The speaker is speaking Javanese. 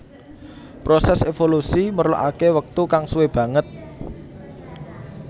Prosès évolusi merlokaké wektu kang suwé banget